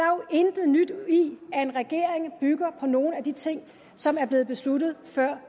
jo intet nyt i at en regering bygger på nogle af de ting som er blevet besluttet før